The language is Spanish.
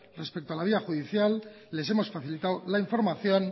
respecto a la vida judicial les hemos facilitado la información